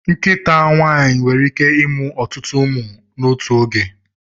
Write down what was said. Nkịta nwaanyị nwere ike ịmụ ọtụtụ ụmụ n'otu oge.